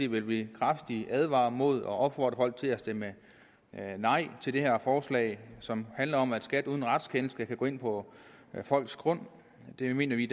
vil vi kraftigt advare mod og opfordre folk til at stemme nej til det her forslag som handler om at skat uden retskendelse skal kunne gå ind på folks grund det mener vi